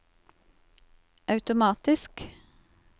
automatisk